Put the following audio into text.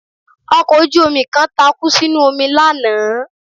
Ọkọ̀ ojú-omi kan takú sínú omi lánàá